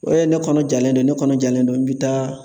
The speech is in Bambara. O ye ne kɔnɔ jalen don ne kɔnɔ jalen don n bɛ taa